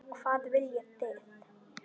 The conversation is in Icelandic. Hvað viljið þið!